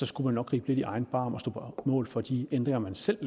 skulle gribe lidt i egen barm og stå på mål for de ændringer man selv